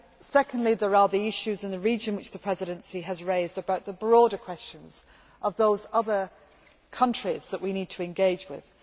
Secondly, there are the issues in the region which the Presidency has raised about the broader questions of those other countries that we need to engage with.